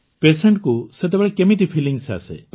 patient କୁ ସେତେବେଳେ କେମିତି ଫିଲିଂ ଆସେ